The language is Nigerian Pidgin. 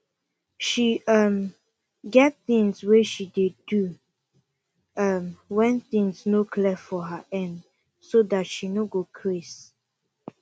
she um get things way she dey do um when things no clear for her end so that she no go craze